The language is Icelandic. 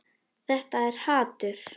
Þetta er hatur.